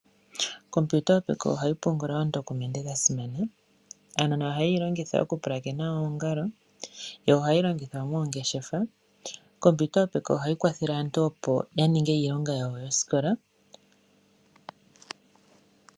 Okompiyuta yo peke ohayi pungula oondokumende dha simana. Aanona ohaye yi longitha okupulakena oongalo, yo ohayi longithwa moongeshefa. Okompiyuta yo peke ohayi kwathele aantu opo ya ninge iilonga yawo yosikola.